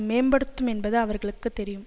மேம்படுத்தும் என்பது அவர்களுக்கு தெரியும்